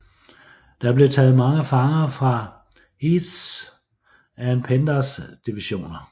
Der blev taget mange fanger fra Heths and Penders divisioner